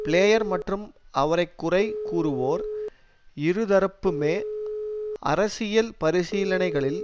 player மற்றும் அவரைக்குறை கூறுவோர் இருதரப்புமே அரசியல் பரிசீலனைகளில்